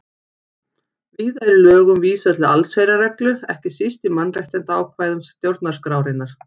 Víða er í lögum vísað til allsherjarreglu, ekki síst í mannréttindaákvæðum stjórnarskrárinnar.